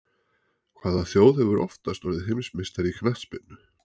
Hvaða þjóð hefur oftast orðið heimsmeistari í knattspyrnu?